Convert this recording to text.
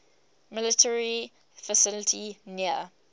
military facility near